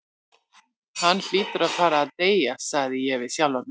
Hann hlýtur að fara að deyja, sagði ég við sjálfan mig.